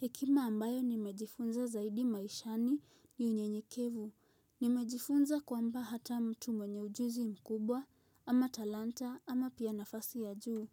Hekima ambayo nimejifunza zaidi maishani ni unyenyekevu. Nimejifunza kwamba hata mtu mwenye ujuzi mkubwa, ama talanta ama pia nafasi ya juu.